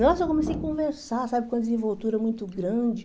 Nossa, eu comecei a conversar, sabe, com a desenvoltura muito grande.